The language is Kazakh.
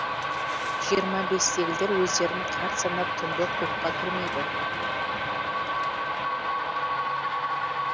жиырма бестегілер өздерін қарт санап түнгі клубқа кірмейді